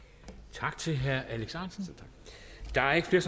tak til herre alex ahrendtsen der er ikke flere